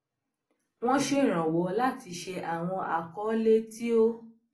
wọn ṣèrànwọ láti ṣe àwọn akọọlẹ tí ó